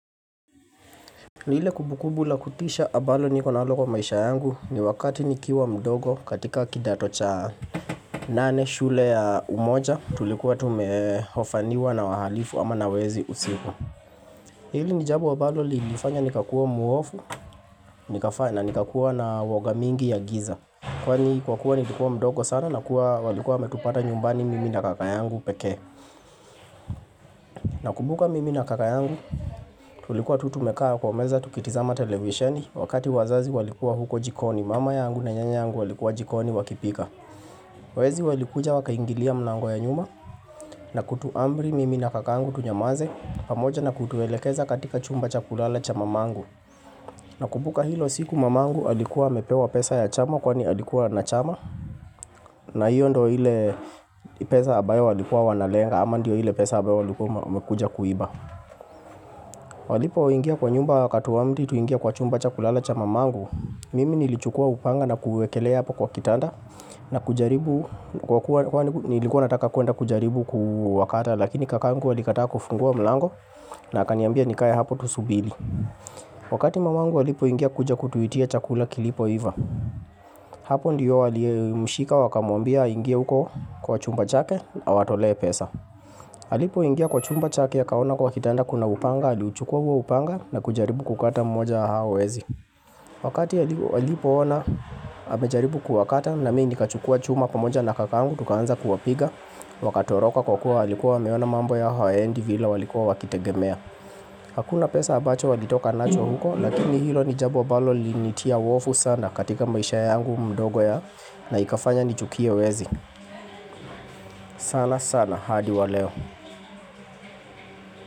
Ni ile kumbukumbu la kutisha ambalo niko nalo kwa maisha yangu ni wakati nikiwa mdogo katika kidato cha nane shule ya umoja tulikuwa tumeofaniwa na wahalifu ama nawezi usiku. Hili ni jambo ambalo lilifanya nikakua muovu, nikakuwa na uwoga mingi ya giza. Kwani kwa kuwa nilikuwa mdogo sana na kuwa walikuwa wametupata nyumbani mimi na kakayangu peke. Nakumbuka mimi na kaka yangu tulikuwa tu tumekaa kwa meza tukitizama televisheni wakati wazazi walikuwa huko jikoni mama yangu na nyanya yangu walikuwa jikoni wakipika. Wezi walikuja wakaingilia mlango ya nyuma na kutuamri mimi na kaka yangu tunyamaze pamoja na kutuelekeza katika chumba cha kulala cha mamangu. Nakumbuka hilo siku mamangu alikuwa amepewa pesa ya chama kwani alikuwa na chama na hiyo ndiyo ile pesa ambayo walikuwa wanalenga ama ndiyo ile pesa ambayo walikuwa wamekuja kuiba. Walipo ingia kwa nyumba wakatuamri tuingie kwa chumba cha kulala cha mamangu Mimi nilichukua upanga na kuwekelea hapo kwa kitanda na kujaribu kwa kuwa nilikuwa nataka kuenda kujaribu kuenda kujaribu kuwakata Lakini kakangu alikataa kufungua mlango na akaniambia nikae hapo tusubiri Wakati mamangu walipo ingia kuja kutuitia chakula kilipo iva Hapo ndiyo alimushika wakamuambia aingie huko kwa chumba chake na awatolee pesa alipo ingia kwa chumba chake akaona kwa kitanda kuna upanga aliuchukuwa huo upanga na kujaribu kukata mmoja wa hao wezi Wakati alipo ona amejaribu kuwakata na mimi nikachukuwa chuma pamoja na kakangu Tukaanza kuwapiga Wakatoroka kwa kuwa walikuwa wameona mambo yao hayaendi vile walikuwa wakitegemea Hakuna pesa abacho walitoka nacho huko Lakini hilo ni jambo ambalo lilinitia uwovu sana katika maisha yangu mdogo ya na ikafanya nichukie wezi sana sana hadi wa leo.